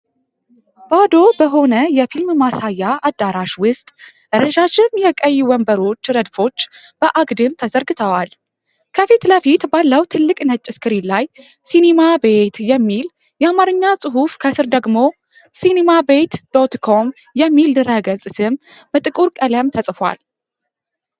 ባዶ በሆነ የፊልም ማሳያ አዳራሽ ውስጥ፣ ረዣዥም የቀይ ወንበሮች ረድፎች በአግድም ተዘርግተዋል። ከፊት ለፊት ባለው ትልቅ ነጭ ስክሪን ላይ 'ሲኒማ ቤት' የሚል የአማርኛ ጽሑፍ ከስር ደግሞ 'cinemabet.com' የሚል ድህረገጽ ስም በጥቁር ቀለም ተጽፏል።